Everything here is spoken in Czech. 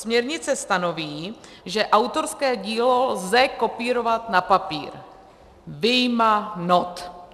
Směrnice stanoví, že autorské dílo lze kopírovat na papír, vyjma not.